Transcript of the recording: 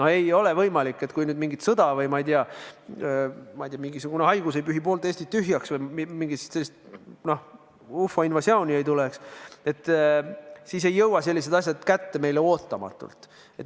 Kui nüüd ei tule mingit sõda või, ma ei tea, mingisugune haigus ei pühi poolt Eestit tühjaks või mingi ufode invasioon ei tule, siis ei jõua sellised asjad meile kätte ootamatult.